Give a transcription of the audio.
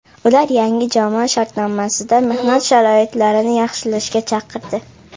Ular yangi jamoa shartnomasida mehnat sharoitlarini yaxshilashga chaqirdi.